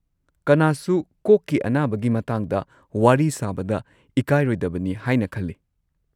ꯀꯅꯥꯁꯨ ꯀꯣꯛꯀꯤ ꯑꯅꯥꯕꯒꯤ ꯃꯇꯥꯡꯗ ꯋꯥꯔꯤ ꯁꯥꯕꯗ ꯏꯀꯥꯏꯔꯣꯏꯗꯕꯅꯤ ꯍꯥꯏꯅ ꯈꯜꯂꯤ꯫